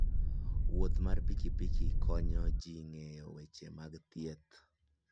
Wuoth mar pikipiki konyo ji ng'eyo weche mag thieth.